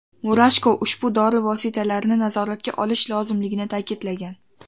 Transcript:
Murashko ushbu dori vositalarini nazoratga olish lozimligini ta’kidlagan.